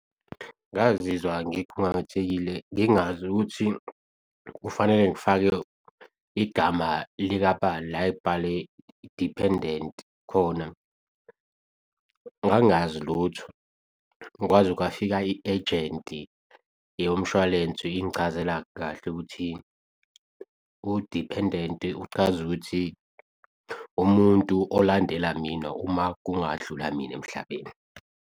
Ngazizwa ngikhungathekile, ngingazi ukuthi kufanele ngifake igama likabani la ekubhale diphendenti khona. Ngangazi lutho, kwaze kwafika i-ejenti yomshwalensi ingichazela kahle ukuthi udiphendenti uchaz'ukuthi umuntu olandela mina uma kungadlula mina emhlabeni.